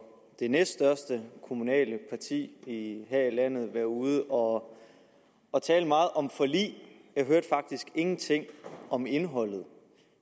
det næststørste kommunale parti her i landet være ude og og tale meget om forlig jeg hørte faktisk ingenting om indholdet